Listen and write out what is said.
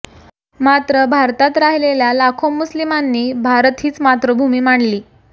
मात्र भारतात राहिलेल्या लाखो मुस्लिमांनी भारत हिच मातृभूमी मानली